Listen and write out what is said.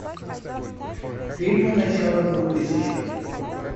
фильмы начала двухтысячных